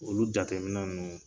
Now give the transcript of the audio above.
Olu jateminɛ ninnu